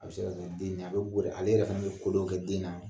A bɛ se ka kɛ den in ɲɛ. A bɛ bori ale yɛrɛ fɛnɛ be ko dɔw kɛ den na